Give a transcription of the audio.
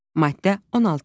Maddə 16.